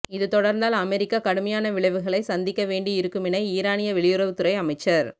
இது தொடர்ந்தால் அமெரிக்கா கடுமையான விளைவுகளை சந்திக்க வேண்டி இருக்குமென ஈரானிய வெளியுறவுத் துறை அமைச்சர்